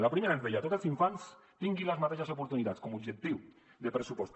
en la primera ens deia tots els infants tinguin les mateixes oportunitats com a objectiu de pressupost